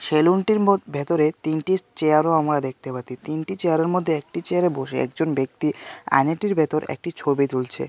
সেলুনটির মোদ ভেতরে তিনটিত চেয়ারও আমরা দেখতে পাতি তিনটি চেয়ারের মধ্যে একটি চেয়ারে বসে একজন ব্যক্তি আয়নাটির ভেতর একটি ছবি তুলছে।